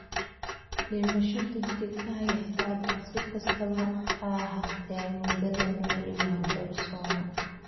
Dhimasho degdeg ah ayaa dhacda; si kastaba ha ahaatee, muddada nooli waa doorsooma.